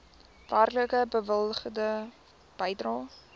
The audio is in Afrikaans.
werklik bewilligde bedrag